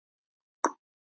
Elsku litli frændi minn.